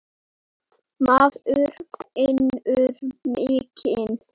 Maður finnur mikinn meðbyr.